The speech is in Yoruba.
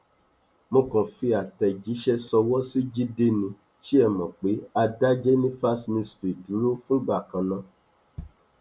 mo kàn fi àtẹjíṣẹ ṣọwọ sí jíde nì ṣe é mọ pé a dá jenifas mystery dúró fúngbà kan ná